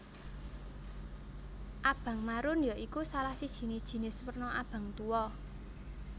Abang marun ya iku salah sijine jinis werna abang tuwa